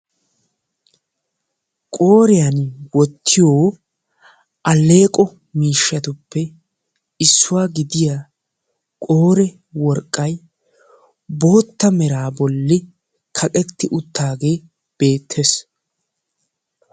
qooriyaan wottiyo aleeqo miishsatuppe issuwaa gidiyaa qoore worqqay bootta mera bolli kaqqeti uttaagee beettees.